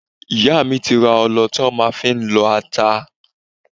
Ìyá mi ti ra ọlọ tí màá fi máa lọ ata.